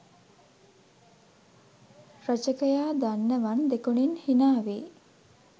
රචකයා දන්නවන් දෙකොනින් හිනාවෙයි!